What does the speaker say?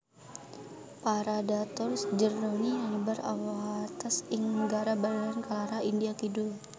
Paradoxurus jerdoni nyebar winates ing negara bagéyan Kerala India kidul